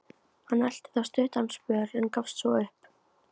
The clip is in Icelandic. Hann elti þá stuttan spöl, en gafst svo upp.